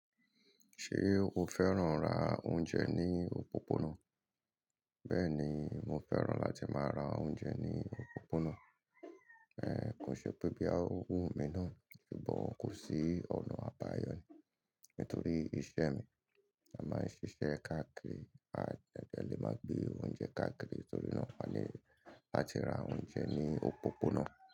Ṣé o fẹ́ràn ra oúnjẹ ní òpópónà? Bẹ́ẹ̀ni, mo fẹ́ràn láti máa ra oúnjẹ ní òpópónà, èè kó ṣe pé bí a ò wù mí náà, bí bọ̀ kò sí ọ̀nà àbáyọ̀ ni. Nítorí iṣẹ́ mi, a máa ń ṣiṣẹ́ káàkiri, a dẹ le máa gbé oúnjẹ káàkiri, torí náà a ní láti ra oúnjẹ ní òpópónà.